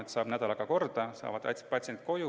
saab nädalaga korda, patsiendid saavad koju.